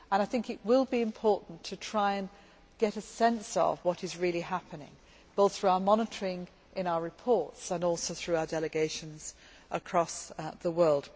I think it will be important to try and get a sense of what is really happening both through our monitoring in our reports and also through our delegations across the world.